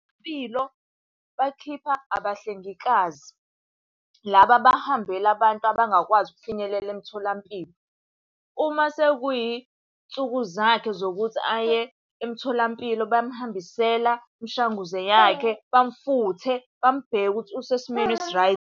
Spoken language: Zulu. bakhipha abahlengikazi laba abahambela abantu abangakwazi ukufinyelela emtholampilo. Uma sekuyinsuku zakhe zokuthi aye emtholampilo bayamuhambisela imishanguze yakhe, bamufuthe, bamubheke ukuthi usesimweni .